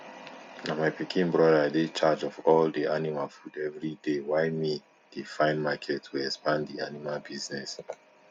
na my pikin brother dey charge of all the animal food everyday why me dey find market to expand di animal business